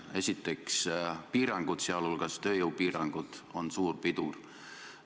Esiteks, piirangud, sh tööjõupiirangud, on suur pidur.